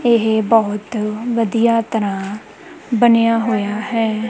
ਇਹ ਬਹੁਤ ਵਧੀਆ ਤਰਾਂ ਬਣਿਆ ਹੋਇਆ ਹੈ।